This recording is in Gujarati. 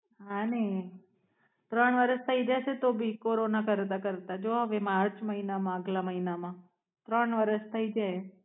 હમ ત્રણ વરસ થાય જશે તો ભી કોરોના કરતા કરતા જો હવે માર્ચ મહિનામાં આગલા મહિનામાં ત્રણ વરસ થય જાયે.